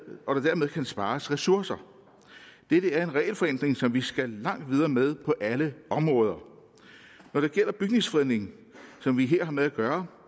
kan spares ressourcer dette er en regelforenkling som vi skal langt videre med på alle områder når det gælder bygningsfredning som vi her har med at gøre